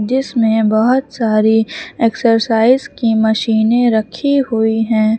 जिसमें बहुत सारी एक्सरसाइज की मशीनें रखी हुई हैं।